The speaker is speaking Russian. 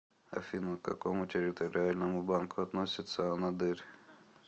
афина к какому территориальному банку относится анадырь